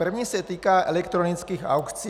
První se týká elektronických aukcí.